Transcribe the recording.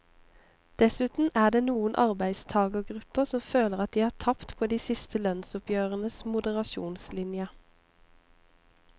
Dessuten er det noen arbeidstagergrupper som føler at de har tapt på de siste lønnsoppgjørenes moderasjonslinje.